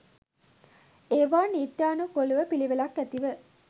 ඒවා නීත්‍යානුකූලව පිළිවෙළක් ඇතිව